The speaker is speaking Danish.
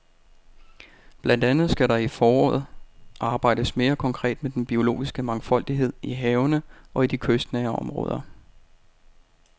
Blandt andet skal der i løbet af foråret arbejdes mere konkret med den biologiske mangfoldighed i havene og i de kystnære områder.